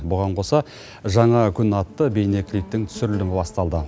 бұған қоса жаңа күн атты бейнеклиптің түсірілімі басталды